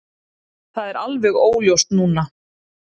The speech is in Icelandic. Það er alveg óljóst núna.